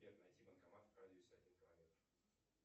сбер найти банкомат в радиусе один километр